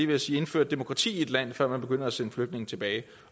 ved at sige indført demokrati i et land før man begynder at sende flygtninge tilbage